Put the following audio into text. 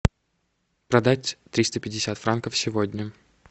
продать триста пятьдесят франков сегодня